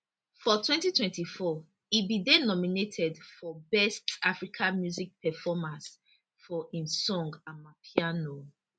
for 2024 e bin dey nominated for best african music performance for im song amapiano